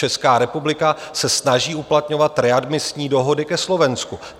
Česká republika se snaží uplatňovat readmisní dohody ke Slovensku.